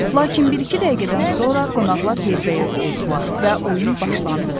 Lakin bir-iki dəqiqədən sonra qonaqlar yerbəyer oldular və oyun başlandı.